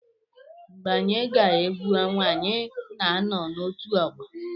Mgbe anyị gaa egwu ọnwa, anyị na-anọ n'otù ọgbọ.